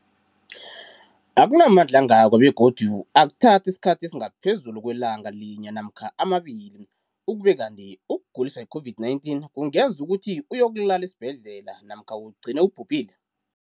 Akuna mandla angako begodu akuthathi isikhathi esingaphezulu kwelanga linye namkha mabili, ukube kanti ukuguliswa yi-COVID-19 kungenza ukuthi uyokulala esibhedlela namkha ugcine ubhubhile.